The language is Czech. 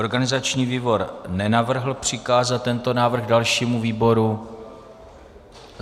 Organizační výbor nenavrhl přikázat tento návrh dalšímu výboru.